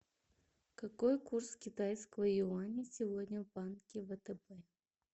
какой курс китайского юаня сегодня в банке втб